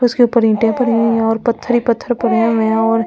उसके ऊपर ईंटें पड़ी हुई हैं और पत्थर ही पत्थर पड़े हुए हैं और--